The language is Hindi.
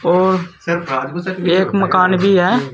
और एक मकान भी है।